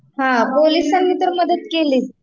हा, पोलिसांनी तर मदत केलीच